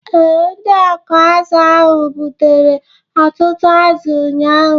Ee, ndị ọkụ azụ̀ ahụ gbutere ọtụtụ azụ ụnyahụ